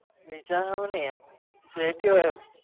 વિચારવાનું ન્ય જે ભી હોય